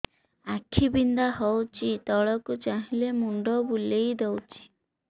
ଆଖି ବିନ୍ଧା ହଉଚି ତଳକୁ ଚାହିଁଲେ ମୁଣ୍ଡ ବୁଲେଇ ଦଉଛି